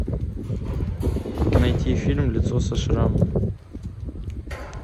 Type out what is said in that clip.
найти фильм лицо со шрамом